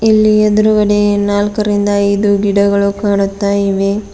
ಇಲ್ಲಿ ಎದ್ರುಗಡೆ ನಾಲ್ಕರಿಂದ ಐದು ಗಿಡಗಳು ಕಾಣುತ್ತಾ ಇವೆ.